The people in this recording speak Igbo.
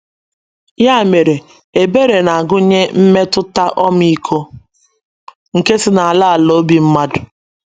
Ya mere, ebere na - agụnye mmetụta ọmịiko nke si n’ala ala obi mmadụ.